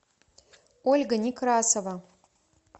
ольга некрасова